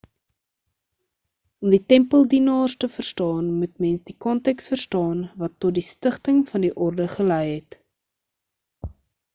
om die tempeldienaars te verstaan moet mens die konteks verstaan wat tot die stigting van die orde gelei het